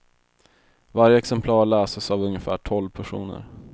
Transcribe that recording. Varje exemplar läses av ungefär tolv personer.